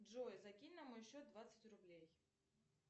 джой закинь на мой счет двадцать рублей